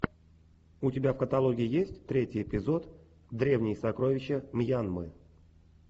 у тебя в каталоге есть третий эпизод древние сокровища мьянмы